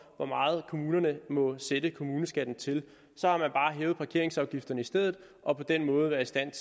hvor meget kommunerne må sætte kommuneskatten til så har man bare hævet parkeringsafgifterne i stedet og på den måde været i stand